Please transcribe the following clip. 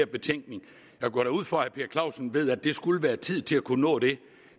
betænkning jeg går da ud fra at herre per clausen ved at der skulle være tid til at man kunne nå det